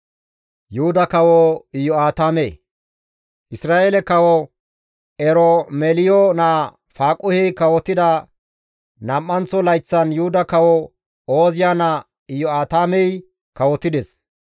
Isra7eele kawo Eromeliyo naa Faaquhey kawotida nam7anththo layththan Yuhuda kawo Ooziya naa Iyo7aatamey kawotides.